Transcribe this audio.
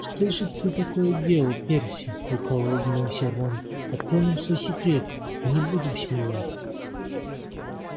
что же ты такое делал перси лукаво улыбнулся рон открой нам свой секрет не будем смеяться